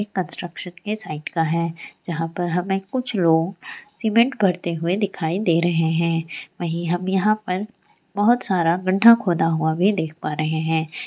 एक कंस्ट्रक्शन के साइट का है जहाँ पर हमे कुछ लोग सीमेंट भरते हुए दिखाई दे रहे हैं | वहीं हम यहाँ पर बहुत सारा विंडो खोदा हुआ भी देख पा रहे हैं |